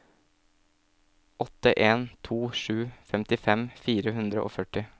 åtte en to sju femtifem fire hundre og førti